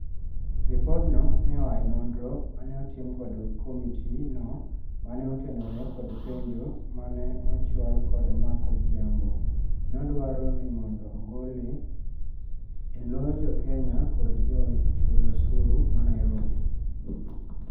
Lipod no neoae nonro mane otim kod komiti no mane otenore kod penjo mane ochhwal kod Mark Ojiambo. Nodwaro ni mondo ogole "e loo jokenya kod jo chul osuru ma Nairobi.